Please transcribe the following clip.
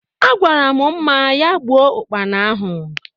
Agwaram Mma ya gbuo Ụkpana ahụ